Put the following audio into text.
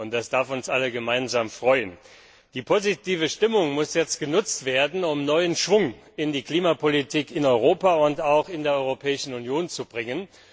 Das darf uns alle gemeinsam freuen. Die positive Stimmung muss jetzt genutzt werden, um neuen Schwung in die Klimapolitik in Europa und auch in der Europäischen Union zu bringen.